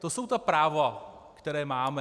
To jsou ta práva, která máme.